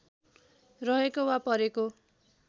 रहेको वा परेको